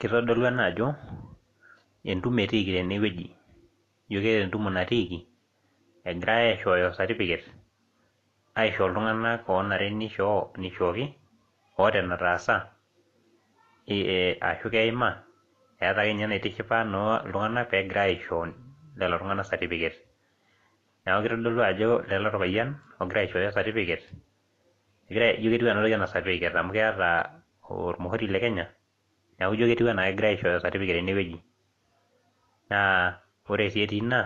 Kitodolu ena ajo entumo etiiki tena wueji, egirae aishooyo certificate aisho iltunganak oonare nishooki, oota enetaasa, ashu keima eeta naa ake ninye enaitishipa iltunganak peegira aisho iltunganak certificate kitodolu ajo Lele orpayiani. ogira aishooyo certificate ketiiu anaa kegira aishooyo amu keeta olmuhuri le Kenya. neeku ijo kegirae aishooyo certificate tene wueji. naa ore ake etii Ina